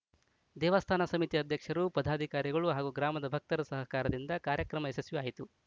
ದೇವಾಸ್ಥಾನ ಸಮಿತಿ ಅಧ್ಯಕ್ಷರು ಪದಾಧಿಕಾರಿಗಳು ಹಾಗೂ ಗ್ರಾಮದ ಭಕ್ತರ ಸಹಕಾರದಿಂದ ಕಾರ್ಯಕ್ರಮ ಯಶಸ್ವಿ ಆಯಿತು